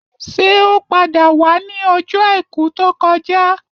Ṣé o padà wá ni ọjọ àìkú tó kọjá?